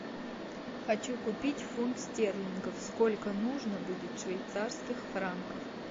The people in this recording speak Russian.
хочу купить фунт стерлингов сколько нужно будет швейцарских франков